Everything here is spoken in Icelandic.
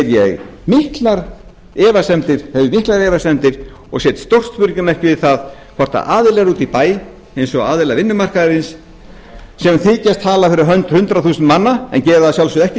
hins vegar hef ég miklar efasemdir og set stórt spurningarmerki við það hvort aðilar úti í bæ eins og aðilar vinnumarkaðarins sem þykjast tala fyrir hönd hundrað þúsund manna en gera það að sjálfsögðu ekki því að